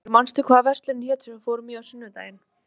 Oddbergur, manstu hvað verslunin hét sem við fórum í á sunnudaginn?